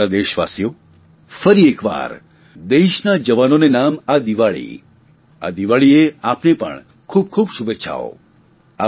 મારા વ્હાલા દેશવાસીઓ ફરી એકવાર દેશના જવાનોને નામ આ દિવાળી આ દિવાળીએ આપને પણ ખૂબ ખૂબ શુભેચ્છાઓ